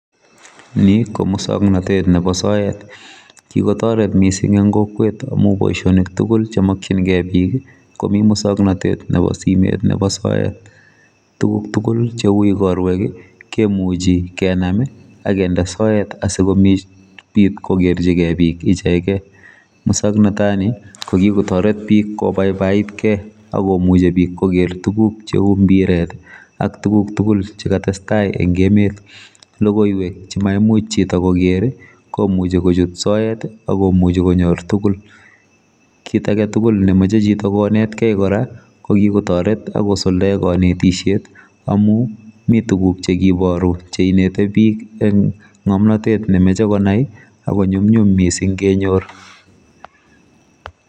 Ni komuswoknotet nebo soet kikotoret mising eng kokwet amu boisionik tugul chemokchingei bik komi muswoknatet nebo simet nebo soet tuguk tugul cheu igorwek kemuchi kenam akinde soet sikomuch kokerchigei bik ichegei moswoknotani kokikotoret bik kobaibait kei akomuchi bik koker tuguk cheu mbiret ak tuguk tugul chekatestai eng emet logoiwek chemaimuch chito koker komuchi kochut chito soet akomuchi konyor tugul kit agetugul nemoche chito konetkei kora kokikotoret akosuldae kanetisiet amu mi tuguk chekibaru cheineti bik eng ngomnotet nemoche konai akonyumnyum mising kenyor.